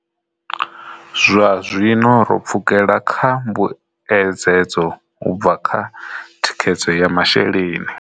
Zwazwino ro pfukela kha mbuedzedzo u bva kha thikhedzo ya masheleni.